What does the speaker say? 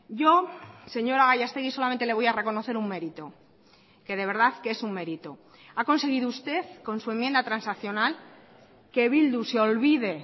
yo señora gallastegui solamente le voy a reconocer un mérito que de verdad que es un mérito ha conseguido usted con su enmienda transaccional que bildu se olvide